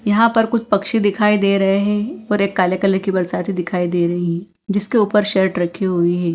यहां पर कुछ पक्षी दिखाई दे रहे हैं और एक काले कलर की बरसती दिखाई दे रही है जिसके ऊपर शर्ट रखी हुई है।